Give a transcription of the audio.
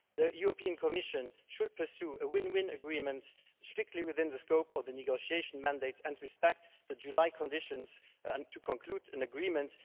The European Commission should pursue a win win agreement, strictly within the scope of the negotiation mandate, and respect the July conditions for concluding an agreement